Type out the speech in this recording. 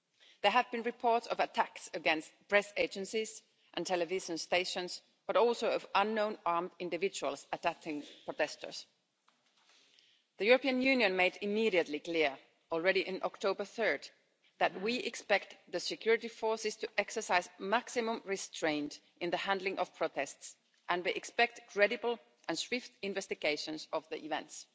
There have been reports of attacks against press agencies and television stations, but also of unknown armed individuals attacking protesters. The European Union made it immediately clear, already on 3 October, that we expect the security forces to exercise maximum restraint in the handling of protests, and we expect credible and swift investigations of the events.